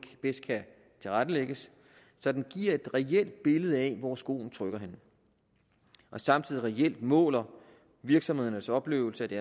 bedst kan tilrettelægges så den giver et reelt billede af hvor skoen trykker og samtidig reelt måler virksomhedernes oplevelse af de